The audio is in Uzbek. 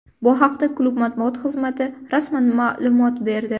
Bu haqda klub matbuot xizmati rasman ma’lumot berdi.